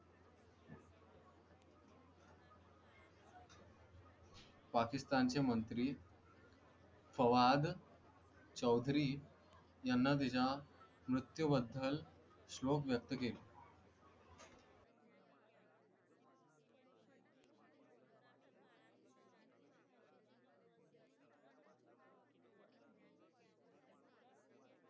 पाकिस्तान चे मंत्री फवाद चौधरी यांना त्यांच्या मृत्यू बद्दल शोक व्यक्त केला.